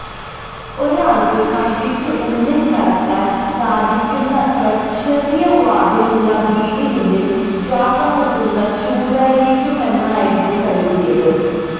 ഒരാള്ക്ക് കഷ്ടിച്ച് ഉള്ളില് കടക്കാന് സാധിക്കുന്നത്ര ചെറിയ വാതിലുള്ള വീടിനുള്ളില് ശ്വാസംമുട്ടുന്ന ചൂടായിരിക്കുമെന്നായിരുന്നു കരുതിയത്